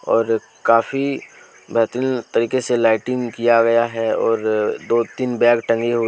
और काफी बेहतरीन तरीके से लाइटिंग किया गया है और दो तीन बैग टंगी हुई--